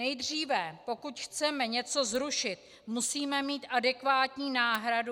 Nejdříve, pokud chceme něco zrušit, musíme mít adekvátní náhradu.